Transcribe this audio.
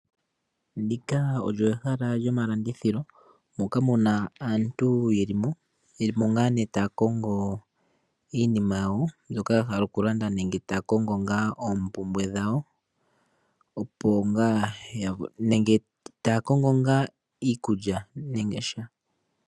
Ndika olyo ehala lyo malandithilo moka muna aantu ye li mo, ye li mo ngaa ne taya kongo iinima yawo mbyoka ya hala okulanda nenge taya kongo oompumbwe dhawo nenge taya kongo ngaa iikukya yawo nenge sha.